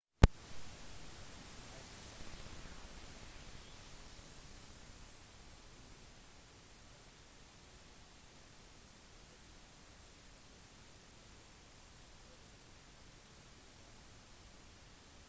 siden den gang har brasilianeren spilt 53 kamper for klubben i alle turneringer og scoret 24 mål